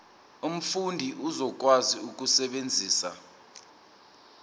umfundi uzokwazi ukusebenzisa